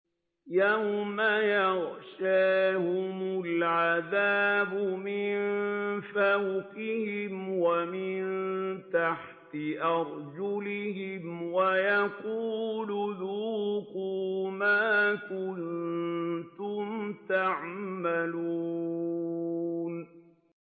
يَوْمَ يَغْشَاهُمُ الْعَذَابُ مِن فَوْقِهِمْ وَمِن تَحْتِ أَرْجُلِهِمْ وَيَقُولُ ذُوقُوا مَا كُنتُمْ تَعْمَلُونَ